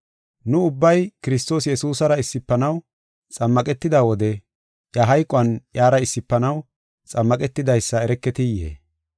Nu ubbay Kiristoos Yesuusara issifanaw xammaqetida wode iya hayquwan iyara issifanaw xammaqetidaysa ereketiyee?